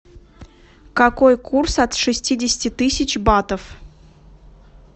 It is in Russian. какой курс от шестидесяти тысяч батов